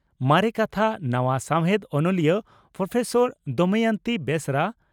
ᱢᱟᱨᱮ ᱠᱟᱛᱷᱟ ᱱᱟᱣᱟ ᱥᱟᱣᱦᱮᱫ ᱚᱱᱚᱞᱤᱭᱟᱹ ᱺ ᱯᱨᱚᱯᱷᱮᱥᱚᱨ ᱫᱚᱢᱚᱭᱚᱱᱛᱤ ᱵᱮᱥᱨᱟ